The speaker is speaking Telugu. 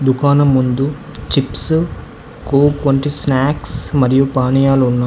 దుకాణం ముందు చిప్సు కోక్ వంటి స్నాక్స్ మరియు పానీయాలు ఉన్న--